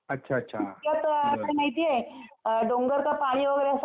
ते असं काही माहिती आहे, डोंगर का पाणी वगैरे असा खेळ आहे ना,